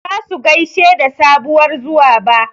Ba zasu gaishe da sabuwar zuwa ba